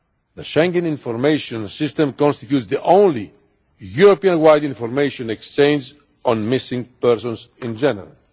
The Schengen Information System constitutes the only Europe wide information exchange on missing persons in general.